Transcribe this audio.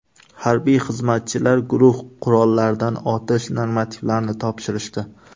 Harbiy xizmatchilar guruh qurollaridan otish normativlarini topshirishdi.